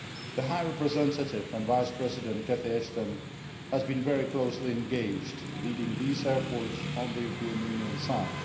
The High Representative and Vice President, Catherine Ashton, has been very closely engaged, leading these efforts on the European Union side.